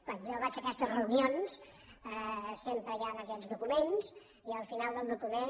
quan jo vaig a aquestes reunions sempre hi han aquests documents i al final del document